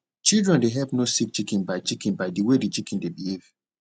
children dey help know sick chicken by chicken by the way the chicken dey behave